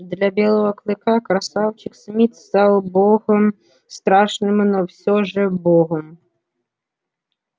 для белого клыка красавчик смит стал богом страшным но все же богом